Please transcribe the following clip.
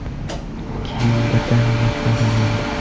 Keyin birdaniga fara yondi.